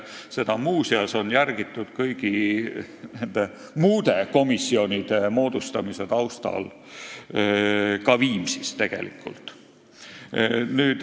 Seda on muuseas, kõigi nende muude komisjonide moodustamise taustal, järgitud tegelikult ka Viimsis.